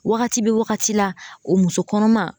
Wagati be wagati la o muso kɔnɔma